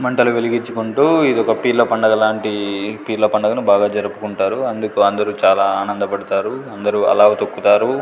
మంటలు వెలిగించుకుంటూ ఇది ఒక పీర్ల పండగ లాంటి పీర్ల పండుగను బాగా జరుపుకుంటారు అందుకు అందరూ చాలా ఆనందపడతారు అందరూ అల్లావు తొక్కుతారు.